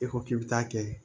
E ko k'i bɛ taa kɛ